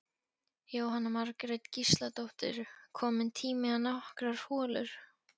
Jóhanna Margrét Gísladóttir: Kominn tími á nokkrar holur?